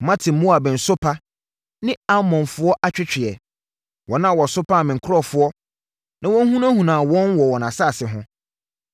“Mate Moab nsopa ne Amonfoɔ atweetweɛ; wɔn a wɔsopaa me nkurɔfoɔ na wɔhunahunaa wɔn wɔ wɔn asase ho.